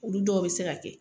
Olu dɔw bɛ se ka kɛ